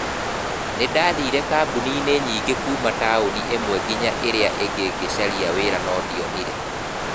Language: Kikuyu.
Nĩ ndaathire kambuni-inĩ nyingĩ kuuma taũni ĩmwe nginya ĩrĩa ĩngĩ ngĩĩcarĩria wĩra no ndionire.